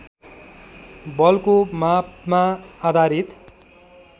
बलको मापमा आधारित